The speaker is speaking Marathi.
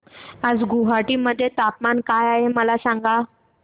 आज गुवाहाटी मध्ये तापमान काय आहे मला सांगा